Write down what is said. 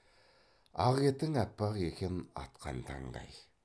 ақ етің аппақ екен атқан таңдай